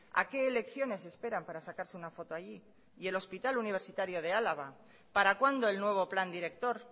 a qué elecciones esperan para sacarse una foto allí y el hospital universitario de álava para cuándo el nuevo plan director